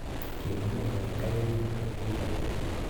Kimwa nee Wenger ye kon kobek mpiret